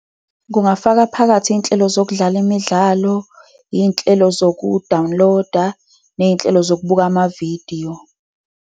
Kungafaka phakathi iy'nhlelo zokudlala imidlalo, iy'nhlelo zoku-download-a, ney'nhlelo zokubuka amavidiyo.